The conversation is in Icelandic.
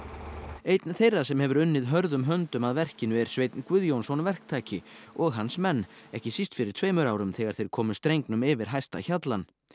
einn þeirra sem hefur unnið hörðum höndum að verkinu er Sveinn Guðjónsson verktaki og hans menn ekki síst fyrir tveimur árum þegar þeir komu strengnum yfir hæsta hjallann